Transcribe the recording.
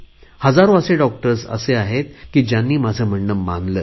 हजारो असे डॉक्टर्स असे आहेत की ज्यांनी माझे म्हणणे मानले